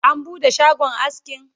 an buɗe shagon askin?